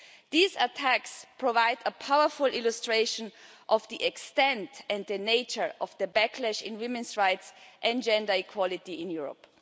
These attacks provide a powerful illustration of the extent and the nature of the backlash against women's rights and gender equality in Europe.